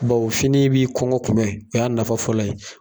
Baw fini b'i kɔngɔ kunbɛ . O y'a nafa fɔlɔ ye.